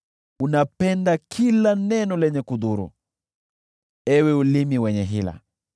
Unapenda kila neno lenye kudhuru, ewe ulimi wenye hila!